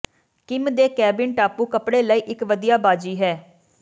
Kim ਦੇ cabin ਟਾਪੂ ਕੱਪੜੇ ਲਈ ਇਕ ਵਧੀਆ ਬਾਜ਼ੀ ਹੈ